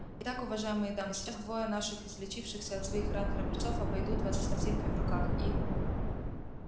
итак уважаемые дамы сейчас двое наших излечившихся от своих ран храбрецов обойдут вас с корзинками в руках и